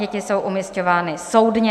Děti jsou umisťovány soudně.